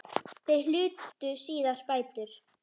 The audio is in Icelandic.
Þeir hlutu síðar bætur.